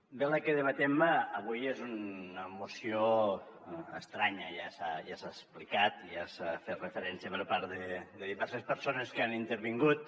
bé la que debatem avui és una moció estranya ja s’ha explicat ja s’hi ha fet referència per part de diverses persones que han intervingut